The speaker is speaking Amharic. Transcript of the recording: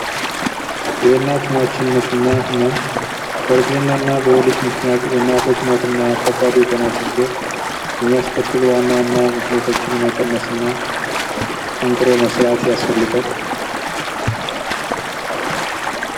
በእርግዝናና በወሊድ ምክንያት የእናቶች ሞት የሚያስከትሉ ዋና ዋና ምክንያቶችን መቀነስና በጥብቅ መስራት ያስፈልጋል።